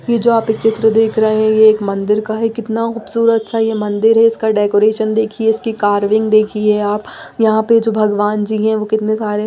ये जो आप चित्र देख रहे है ये एक मंदिर का है कितना खूबसूरत सा ये मंदिर है इसका डेकोरेशन देखिए इसकी कार्विंग देखिए आप यहां पे जो भगवान जी हैं वो कितने सारे --